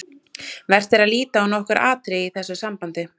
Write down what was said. Vert er að líta á nokkur atriði í þessu sambandi.